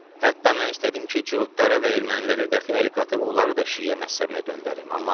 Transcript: Hətta mən istədim ki, cuhudları və erməniləri dəxi ələ qatıb onları da şiə məzhəbinə döndərim.